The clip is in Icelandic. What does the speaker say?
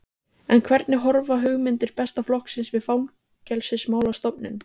En hvernig horfa hugmyndir Besta flokksins við Fangelsismálastofnun?